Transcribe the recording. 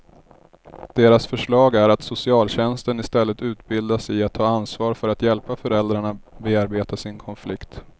Deras förslag är att socialtjänsten istället utbildas i att ta ansvar för att hjälpa föräldrarna bearbeta sin konflikt.